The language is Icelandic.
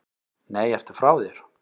Nei, ertu frá þér!